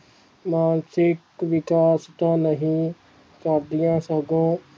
ਮਾਨਸਿਕ ਵਿਕਾਸ ਤਾਂ ਨਹੀਂ ਕਰਦਿਆਂ ਸਗੋਂ